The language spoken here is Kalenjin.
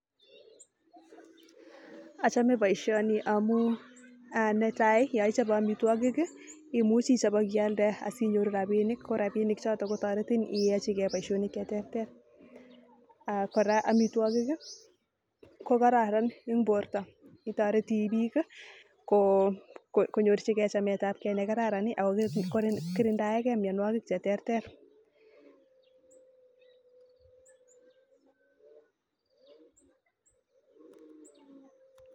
Achome boisioni amu netai yo ichobe amitwokik imuchi ichop akialde asinyoru rabinik korabinik chotok kotoretin ayai boisionik alak cheterter kora amitwokik kokararan eng borto itoreti biik konyorchigei chametabkei ne kararan ako kirindae kei mianwokik cheterter